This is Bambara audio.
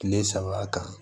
Kile saba kan